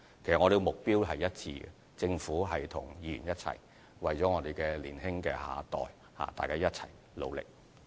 我們的目標其實是一致的，政府和議員為年輕的下一代一起努力。